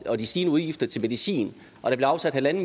og de stigende udgifter til medicin og der blev afsat en en